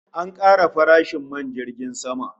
An kara farashin man jirgin sama